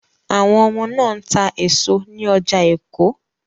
Àwọn ọmọ náà ń ta èso ní ọjà Èkó